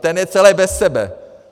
Ten je celý bez sebe!